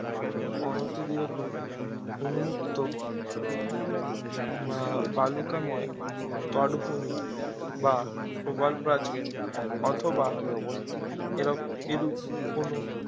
উন্মুক্ত বা বালুকাময় তটভূমি বা প্রবালপ্রাচীর অথবা এরপ এরূপ কোনো